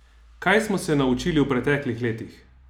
Kaj smo se naučili v preteklih letih?